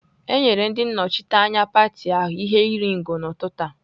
E nyere ndị nnọchiteanya pati ahụ ihe iri ngo n'ụtụtụ a.